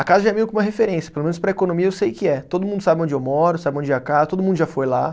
A casa já é meio que uma referência, pelo menos para economia eu sei que é. Todo mundo sabe onde eu moro, sabe onde é a casa, todo mundo já foi lá.